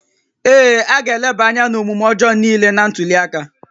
Ee, a ga-eleba anya n'omume ọjọọ niile na ntuli aka